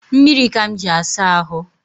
Mmiri ka m ji asa ahụ